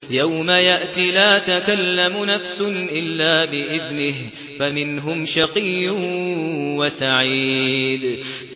يَوْمَ يَأْتِ لَا تَكَلَّمُ نَفْسٌ إِلَّا بِإِذْنِهِ ۚ فَمِنْهُمْ شَقِيٌّ وَسَعِيدٌ